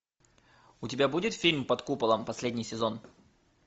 у тебя будет фильм под куполом последний сезон